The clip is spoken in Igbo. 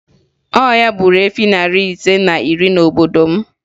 Ọya gburu efi narị ise na iri n'obodo m